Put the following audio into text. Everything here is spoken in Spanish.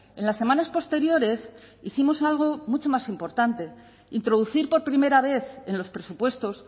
en las semanas posteriores hicimos algo mucho más importante introducir por primera vez en los presupuestos